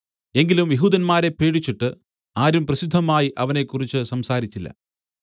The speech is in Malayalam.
എങ്കിലും യെഹൂദന്മാരെ പേടിച്ചിട്ട് ആരും പ്രസിദ്ധമായി അവനെക്കുറിച്ച് സംസാരിച്ചില്ല